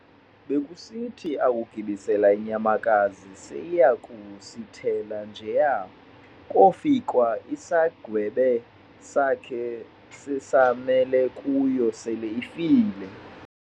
Bekusithi akugibisela inyamakazi seyisiyakusithela njeya, kofikwa isagweba sakhe sessamele kuyo sele ifile.